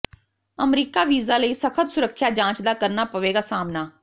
America visa ਲਈ ਸਖਤ ਸੁਰੱਖਿਆ ਜਾਂਚ ਦਾ ਕਰਨਾ ਪਵੇਗਾ ਸਾਹਮਣਾ